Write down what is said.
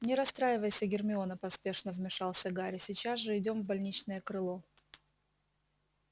не расстраивайся гермиона поспешно вмешался гарри сейчас же идём в больничное крыло